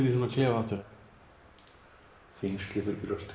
í þennan klefa aftur þyngsli fyrir brjóstið